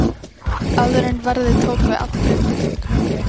Áður en varði tóku allir undir sem kunnu.